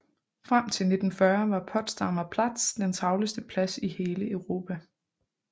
Frem til 1940 var Potsdamer Platz den travleste plads i hele Europa